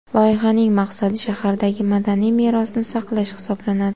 Loyihaning maqsadi shahardagi madaniy merosni saqlash hisoblanadi.